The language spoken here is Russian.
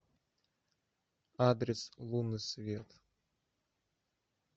адрес лунный свет